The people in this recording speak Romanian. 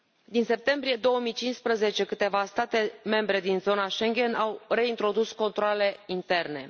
Din septembrie 2015, câteva state membre din zona Schengen au reintrodus controalele interne.